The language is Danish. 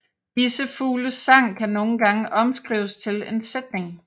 Disse fugles sang kan nogle gange omskrives til en sætning